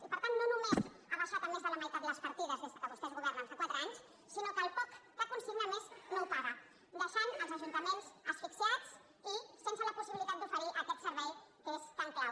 i per tant no només ha baixat a més de la meitat les partides des que vostès governen fa quatre anys sinó que el poc que consigna a més no ho paga deixant els ajuntaments asfixiats i sense la possibilitat d’oferir aquest servei que és tan clau